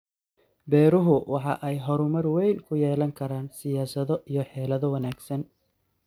Beeruhu waxa ay horumar weyn ku yeelan karaan siyaasado iyo xeelado wanaagsan.